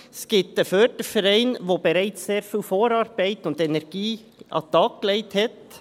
Es gibt einen Förderverein, der bereits sehr viel Vorarbeit geleistet und Energie an den Tag gelegt hat.